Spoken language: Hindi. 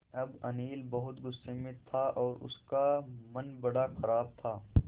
अब अनिल बहुत गु़स्से में था और उसका मन बड़ा ख़राब था